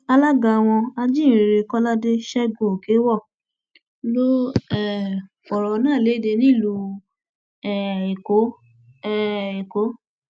alága wọn ajíhìnrere kọládé ṣẹgunòkèèwọ ló um fọrọ náà lédè nílùú um èkó um èkó